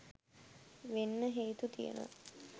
වෙන්න හේතු තියනවා